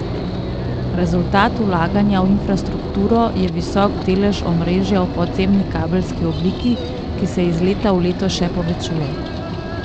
Rezultat vlaganja v infrastrukturo je visok delež omrežja v podzemni kabelski obliki, ki se iz leta v leto še povečuje.